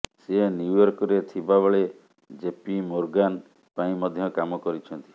ସେ ନ୍ୟୁୟର୍କରେ ଥିବା ବେଳେ ଜେପି ମୋର୍ଗାନ ପାଇଁ ମଧ୍ୟ କାମ କରିଛନ୍ତି